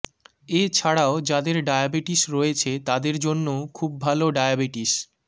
এছাড়াও যাদের ডায়াবিটিস রয়েছে তাদের জন্যেও খুব ভালো ডায়াবিটিস